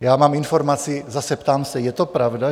Já mám informaci - zase, ptám se, je to pravda?